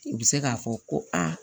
U bɛ se k'a fɔ ko aa